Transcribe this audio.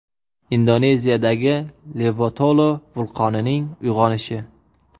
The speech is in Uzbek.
Indoneziyadagi Levotolo vulqonining uyg‘onishi.